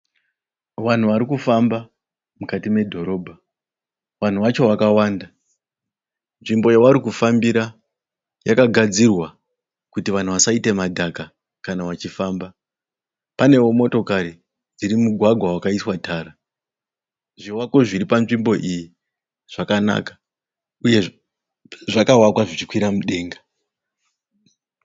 Vanhu vari kufamba mukati medhorobha, vanhu vacho vakawanda nzvimbo yavari kufambira yakagadzirwa kuti vanhu vasaite madhaga kana vachifamba, panewo motokari iri mumugwagwa wakaiswa tara zvivakwa zviri panzvimbo iyi zvakanaka uye zvakavakwa zvichikwira mudenga.